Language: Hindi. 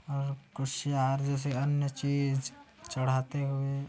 और कुशियार जैसे कोई अन्य चीज चड़ाते हुए--